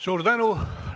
Suur tänu!